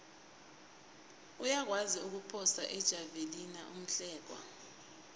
uyakwazi ukuphosa ijavelina umhlekwa